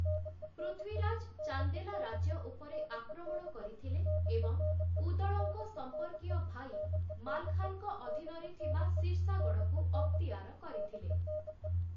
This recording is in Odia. ପୃଥ୍ୱୀରାଜ ଚାନ୍ଦେଲା ରାଜ୍ୟ ଉପରେ ଆକ୍ରମଣ କରିଥିଲେ ଏବଂ ଉଦଳଙ୍କ ସମ୍ପର୍କୀୟ ଭାଇ ମାଲଖାନ୍‌ଙ୍କ ଅଧୀନରେ ଥିବା ସିର୍ସାଗଡ଼଼କୁ ଅକ୍ତିଆର କରିଥିଲେ ।